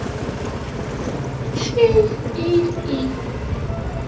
tsi i i